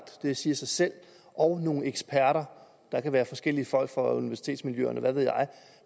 det siger sig selv og nogle eksperter der kan være forskellige folk fra universitetsmiljøerne hvad ved jeg